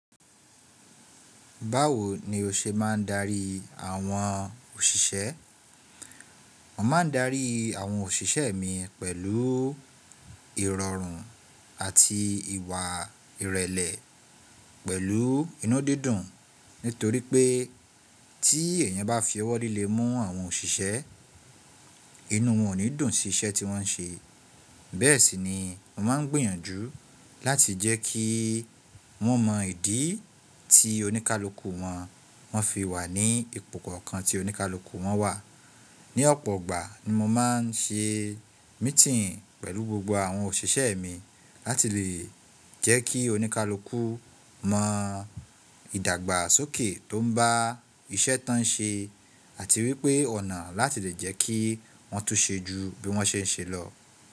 Báwo ni o ṣe máa ń darí àwọn òṣìṣẹ́? Mo máa ń darí àwọn òṣìṣẹ́ mi pẹ̀lú ìrọ̀rùn àti ìwà ìrẹ̀lẹ̀ pẹ̀lú inúdídùn. Nítorí pé tí èèyàn bá fi ọwọ́ líle mú àwọn òṣìṣẹ́, inú wọn ò ní dùn sí iṣẹ́ tí wọ́n ń ṣe. Bẹ́ẹ̀ sì ni mo máa ń gbìyànjú láti jẹ́ kí wọ́n mọ ìdí tí oníkálukú wọn fi wà ní ipò kọ̀ọ̀kan tí oníkálukú wọn wà. Ni ọ̀pọ̀ ọgbà ni mo máa ń ṣe mítìn pẹ̀lú gbogbo àwọn òṣìṣẹ́ mi láti lè jẹ́ kí oníkálukú mọ ìdàgbàsókè tó ń bá iṣẹ́ tán ṣe àti wípé ọ̀nà láti lè jẹ́ kí wọ́n tún ṣe ju bí wọ́n ṣe ń ṣe lọ.